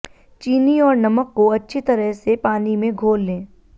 चीनी और नमक को अच्छी तरह से पानी में घोल लें